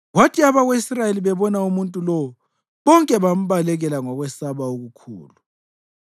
Kwathi abako-Israyeli bebona umuntu lowo, bonke bambalekela ngokwesaba okukhulu.